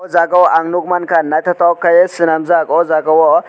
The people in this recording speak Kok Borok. jaaga o ang nugmanka nythoktoke swnamjak aw jaaga o.